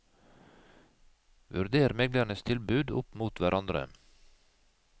Vurder meglernes tilbud opp mot hverandre.